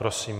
Prosím.